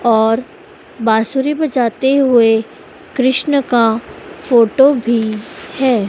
और बांसुरी बजाते हुए कृष्ण का फोटो भीं हैं।